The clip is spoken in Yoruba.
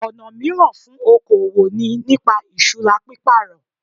Ọ̀nà míràn fún okoòwò ni nípa ìsura pípàrọ̀